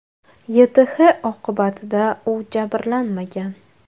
YTH oqibatida u jabrlanmagan.